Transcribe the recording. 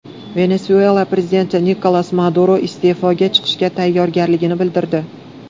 Venesuela prezidenti Nikolas Maduro iste’foga chiqishga tayyorligini bildirdi.